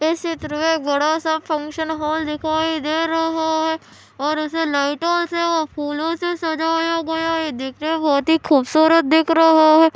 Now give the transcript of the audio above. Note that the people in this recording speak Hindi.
और ये बड़ा सा फंक्शन हॉल दिखाई दे रहा है और उसे नाईटोल से और फूलों से सजाया गया है देखने में बहुत ही खूबसूरत दिख रहा है।